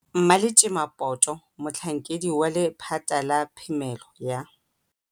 Mmaletjema Poto, Motlhankedi wa Lephata la Phemelo ya